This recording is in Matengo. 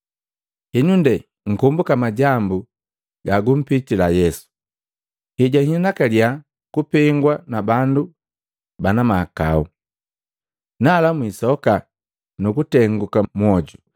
Henu nde mkombuka majambu ga gumpitila Yesu hejahinakaliya kupengwa na bandu bana mahakau. Nala mwiisoka nu kutenguka mwoju.